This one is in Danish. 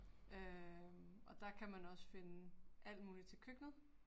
Øh og der kan man også finde alt muligt til køkkenet